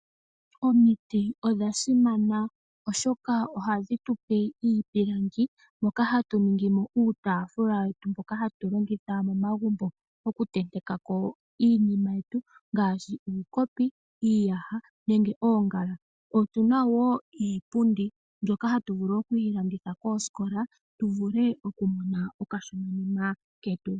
Omiti odhasimana oshoka ohadhi tupe iipilangi moka hatu ningi mo iitafula yetu mbyoka hatu longitha momagumbo okutenteka ko iinima yetu nngaashi uukopi, iiyaha nenge oongala, otuna wo iipundi mbyoka hatu vulu oku yi landitha koosikola tu vule okumona okashona ketu.